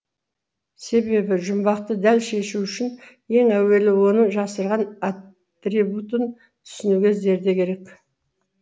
себебі жұмбақты дәл шешу үшін ең әуелі оның жасырған атрибутын түсінуге зерде керек